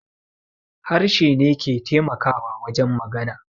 Harshe ne ke taimakawa wajen magana